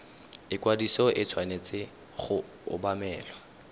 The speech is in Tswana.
ikwadiso e tshwanetse go obamelwa